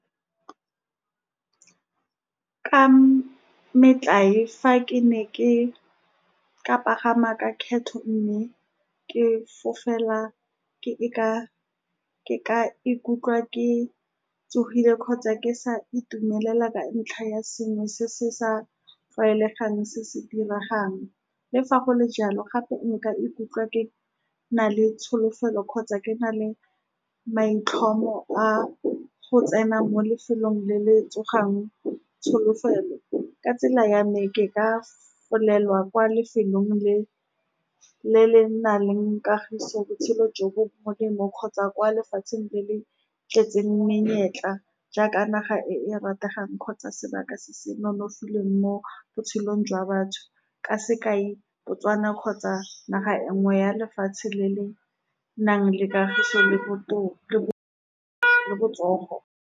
Ka metlae, fa ke ne ke ka pagama ka kgetho, mme ke fofela, ke ka ikutlwa ke tsogile kgotsa ke sa itumela ka ntlha ya sengwe se se sa tlwaelegang se se diregang. Le fa go le jalo, gape nka ikutlwa ke na le tsholofelo kgotsa ke na le maitlhomo a go tsena mo lefelong le le tsogang tsholofelo. Ka tsela ya me, ke ka fofela kwa lefelong le le nang le kagiso, botshelo jo bo molemo, kgotsa kwa lefatsheng le le tletseng menyetla, jaaka naga e e rategang kgotsa sebaka se se nonofileng mo botshelong jwa batho, ka sekai Botswana kgotsa naga e nngwe ya lefatshe le le nang le kagiso, le botoka le botsogo.